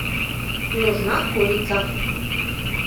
нужна курица